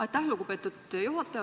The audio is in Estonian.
Aitäh, lugupeetud juhataja!